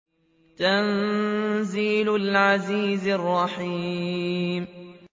تَنزِيلَ الْعَزِيزِ الرَّحِيمِ